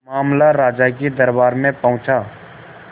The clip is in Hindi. मामला राजा के दरबार में पहुंचा